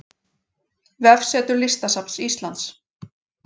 Vefsetur Listasafns Íslands